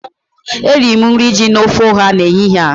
Eriri m nri ji na ofe ọha n'ehihie a